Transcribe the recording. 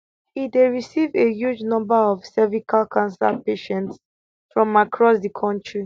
e dey receive a huge number of cervical cancer patients from across di kontri